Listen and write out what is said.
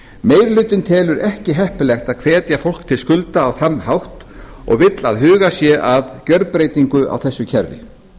meiri hlutinn telur ekki heppilegt að hvetja fólk til skulda á þann hátt og vill að hugað sé að gjörbreytingu á þessu kerfi